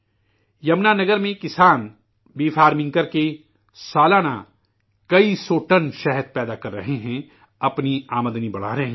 جمنا نگر میں، کسان، شہد کی کھیتی کرکے، سالانہ، کئی سو ٹن شہد پیدا کر رہے ہیں، اپنی آمدنی بڑھا رہے ہیں